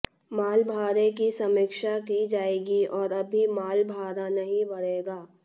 माल भाड़े की समीक्षा की जाएगी और अभी माल भाड़ा नहीं बढ़ेगा